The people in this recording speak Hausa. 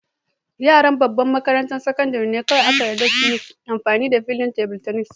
Yaran babban makarantan sakandare ne aka yarda su yi amfani da filin table tennis.